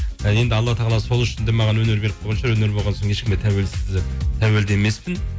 енді алла тағала сол үшін де маған өнер беріп қойған шығар өнер болған соң ешкімге тәуелді емеспін